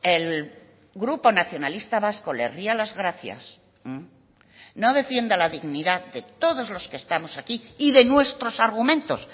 el grupo nacionalista vasco le ría las gracias no defienda la dignidad de todos los que estamos aquí y de nuestros argumentos